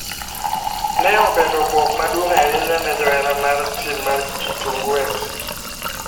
Ne obedo buok maduong ahinya ne johera mar tim mar kitingu fc.